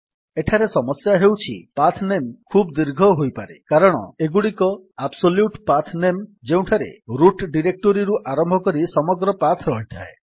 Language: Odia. ଏଠାରେ ସମସ୍ୟାଟି ହେଉଛି ପାଥ୍ ନାମ ଖୁବ୍ ଦୀର୍ଘ ହୋଇପାରେ କାରଣ ଏଗୁଡିକ ଆବ୍ସୋଲ୍ୟୁଟ୍ ପାଥ୍ ନେମ୍ ଯେଉଁଥିରେ ରୁଟ୍ ଡିରେକ୍ଟୋରୀରୁ ଆରମ୍ଭ କରି ସମଗ୍ର ପାଥ୍ ରହିଥାଏ